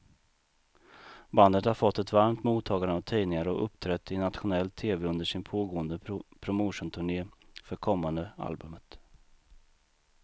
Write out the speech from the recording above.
Bandet har fått ett varmt mottagande av tidningar och uppträtt i nationell tv under sin pågående promotionturné för kommande albumet.